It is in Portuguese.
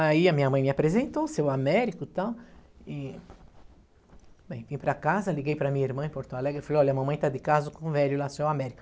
Aí a minha mãe me apresentou, seu Américo e tal, e bem, vim para casa, liguei para minha irmã em Porto Alegre, falei, olha, a mamãe está de caso com o velho lá, seu Américo.